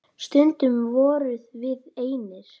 Stundum vorum við einir.